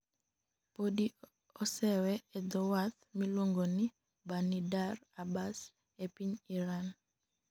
Podi osewe e dho wath miluonigo nii Banidar Abbas e piniy Irani.